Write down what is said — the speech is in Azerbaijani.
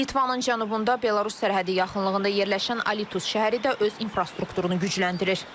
Litvanın cənubunda Belarus sərhədi yaxınlığında yerləşən Alitus şəhəri də öz infrastrukturunu gücləndirir.